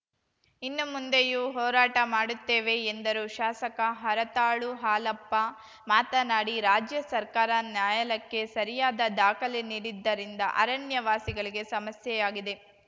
ಇನ್ನು ಮುಂದೆಯೂ ಹೋರಾಟ ಮಾಡುತ್ತೇವೆ ಎಂದರು ಶಾಸಕ ಹರತಾಳು ಹಾಲಪ್ಪ ಮಾತನಾಡಿ ರಾಜ್ಯ ಸರ್ಕಾರ ನ್ಯಾಯಾಲಯಕ್ಕೆ ಸರಿಯಾದ ದಾಖಲೆ ನೀಡದಿದ್ದರಿಂದ ಅರಣ್ಯವಾಸಿಗಳಿಗೆ ಸಮಸ್ಯೆಯಾಗಿದೆ